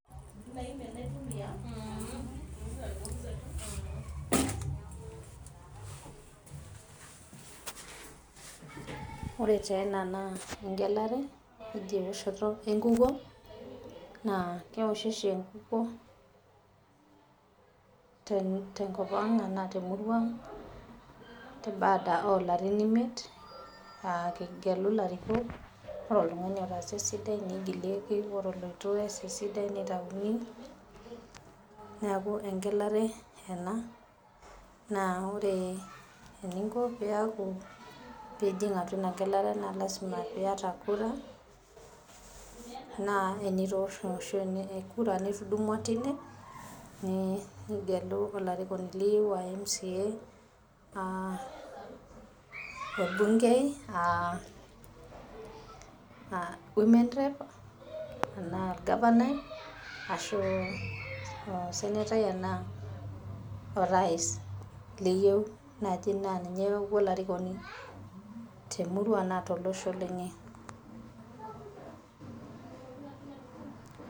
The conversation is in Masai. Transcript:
ore taa ena naa egelare eoshoto enkukuo, keoshi oshi enkuokuo temurua ang'.te baada oolarin imiet, egeluni olarikoni, ore oltungani otaasa esidai nigilieki ore oleitu nitayuni, amu egelare ena. naa ore eninko pee ijing egelare lasima pee iyata kura. nigelu olarikoni liyieu, enaa mca enaa olgafanai enaa women rep, enaa osenetai, ashu orais.